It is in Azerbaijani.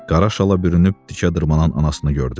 Qara şala bürünüb dikə dırmanan anasını gördü.